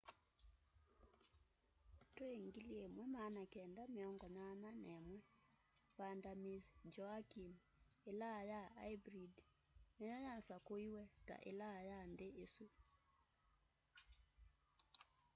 twi 1981 vanda miss joaquim ilaa ya aibrid niyo yasakuiwe ta ilaa ya nthi isu